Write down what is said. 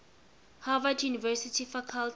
harvard university faculty